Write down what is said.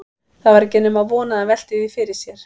Það var ekki nema von að hann velti því fyrir sér.